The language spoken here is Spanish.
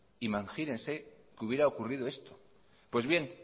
imagínese que hubiera ocurrido esto pues bien